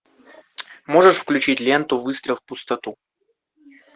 можешь включить ленту выстрел в пустоту